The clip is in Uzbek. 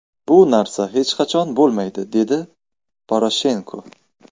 Bu narsa hech qachon bo‘lmaydi”, dedi Poroshenko.